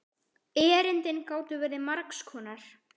Erindin gátu verið margs konar.